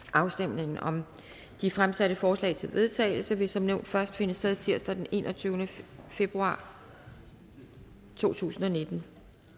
afstemningen om de fremsatte forslag til vedtagelse vil som nævnt først finde sted torsdag den enogtyvende februar to tusind og nitten